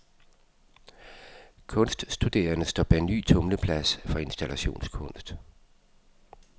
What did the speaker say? Kunststuderende står bag ny tumleplads for installationskunst.